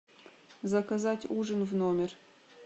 заказать ужин в номер